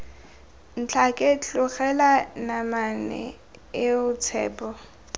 ntlhake tlogela namane eo tshepo